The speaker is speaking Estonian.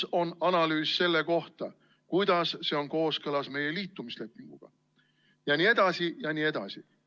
Kus on analüüs selle kohta, kuidas see on kooskõlas meie liitumislepinguga jne, jne?